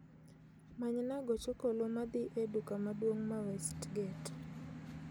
Manyna gach okoloma dhi e duka maduong' ma westgate